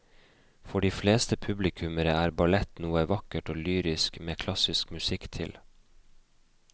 For de fleste publikummere er ballett noe vakkert og lyrisk med klassisk musikk til.